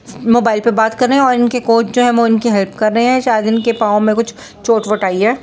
Mobile पे बात कर रहे है और इनके कोच जो है इनके हेल्प कर रहे है शायद इनके पाव में कुछ चोट-वोट आई है।